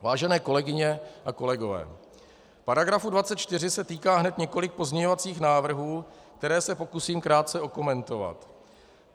Vážené kolegyně a kolegové, paragrafu 24 se týká hned několik pozměňovacích návrhů, které se pokusím krátce okomentovat.